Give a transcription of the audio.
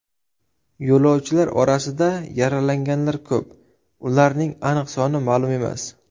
Yo‘lovchilar orasida yaralanganlar ko‘p, ularning aniq soni ma’lum emas.